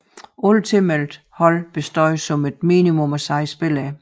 Alle tilmeldte hold bestod som et minimum af 6 spillere